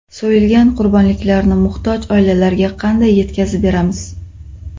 So‘yilgan qurbonliklarni muhtoj oilalarga qanday yetkazib beramiz?